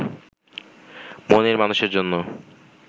মনের মানুষের জন্য